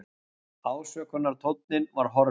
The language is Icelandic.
Ásökunartónninn var horfinn.